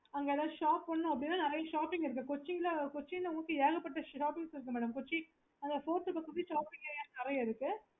okay